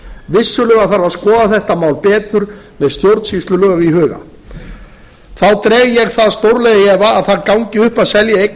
vissulega þarf að skoða þetta mál betur með stjórnsýslulög í huga þá dreg ég það stórlega í efa að það gangi upp að selja eignir